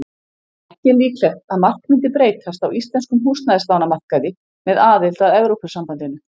Ekki er líklegt að margt mundi breytast á íslenskum húsnæðislánamarkaði með aðild að Evrópusambandinu.